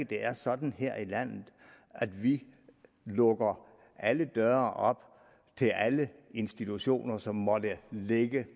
det er sådan her i landet at vi lukker alle døre op til alle institutioner som måtte ligge